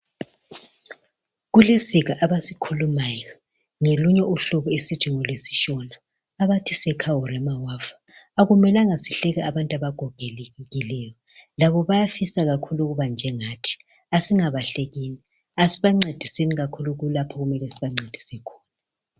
Kulesiga abasikhulumayo ngelunye uhlobo esiluthi ngolwesi Shona abathi seka urema wafa .Akumelanga sihleke abantu abagogekileyo .Labo bayafisa kakhulu ukuba njengathi Asingabahleki. Asibancediseni kakhulu kulapho okumele sibancedise khona